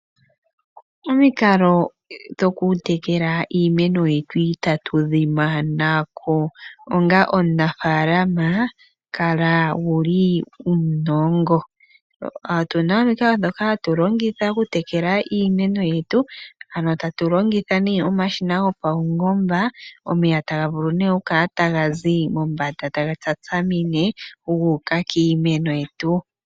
Omikalo dhoku tekela iimeno yetu itatu dhi manako. Onga omunafaalama kala wuna uunongo. Otuna omikalo ndhoka hatu longitha oku tekela iimeno yetu ,ohatu longitha nee omashima gopawungomba, omeya taga vulu nee okukala tagazi mombanda taga shashamine guuku kiimeno yetu.